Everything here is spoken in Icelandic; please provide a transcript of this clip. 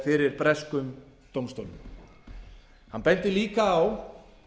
fyrir breskum dómstólum hann benti líka á